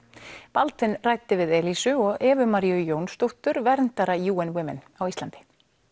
Baldvin ræddi við og Evu Maríu Jónsdóttur verndara UN Women á Íslandi